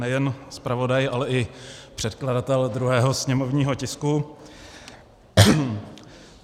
Nejen zpravodaj, ale i předkladatel druhého sněmovního tisku.